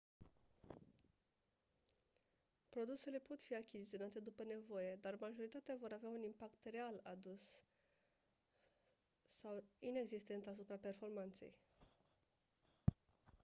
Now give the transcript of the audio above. produsele pot fi achiziționate după nevoie dar majoritatea vor avea un impact real redus sau inexistent asupra performanței